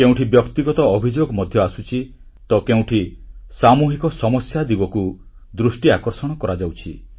କେଉଁଠି ବ୍ୟକ୍ତିଗତ ଅଭିଯୋଗ ମଧ୍ୟ ଆସୁଛି ତ କେଉଁଠି ସାମୂହିକ ସମସ୍ୟା ଦିଗକୁ ଦୃଷ୍ଟି ଆକର୍ଷଣ କରାଯାଉଛି